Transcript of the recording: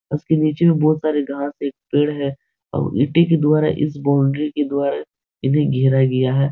इसके नीचे में बहुत सारे घास एक पेड़ है और ईटे के द्वारा इस बाउंड्री के द्वारा इन्हें घेरा गया है ।